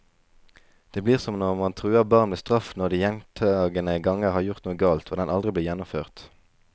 Det blir som når man truer barn med straff når de gjentagende ganger har gjort noe galt, og den aldri blir gjennomført.